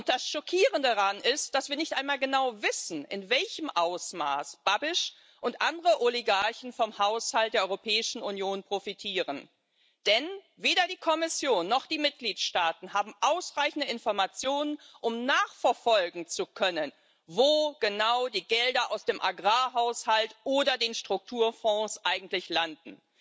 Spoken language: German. Das Schockierende daran ist, dass wir nicht einmal genau wissen, in welchem Ausmaß Babiš und andere Oligarchen vom Haushalt der Europäischen Union profitieren. Denn weder die Kommission noch die Mitgliedstaaten haben ausreichende Informationen, um nachverfolgen zu können, wo genau die Gelder aus dem Agrarhaushalt oder den Strukturfonds eigentlich landen.